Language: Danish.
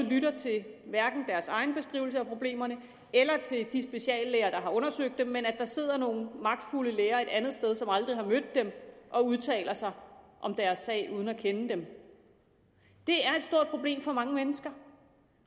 lytter til deres egen beskrivelse af problemerne eller til de speciallæger der har undersøgt dem men at der sidder nogle magtfulde læger et andet sted som aldrig har mødt dem og udtaler sig om deres sag uden at kende dem det er et stort problem for mange mennesker